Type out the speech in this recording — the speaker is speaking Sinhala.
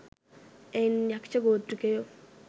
එයින් යක්‍ෂ ගෝත්‍රිකයෝ